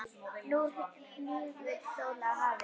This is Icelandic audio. Nú hnígur sól að hafi.